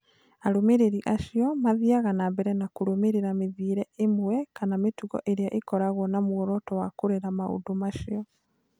Arũmĩrĩri acio mathiaga na mbere na kũrũmĩrĩra mĩthiĩre ĩmwe kana mĩtugo ĩrĩa ĩkoragwo na muoroto wa kũrera maũndũ macio.